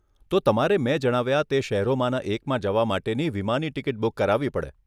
તો તમારે મેં જણાવ્યા તે શહેરોમાંના એકમાં જવા માટેની વિમાની ટીકીટ બુક કરાવવી પડે.